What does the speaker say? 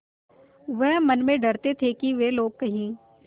वह मन में डरते थे कि वे लोग कहीं